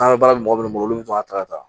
An bɛ baara di mɔgɔ minnu bolo olu bɛ sɔn ka taga